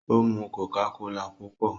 ó mù cocacola púpọ